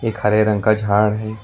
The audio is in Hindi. एक हरे रंग का झाड़ है।